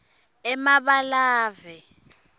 emabalave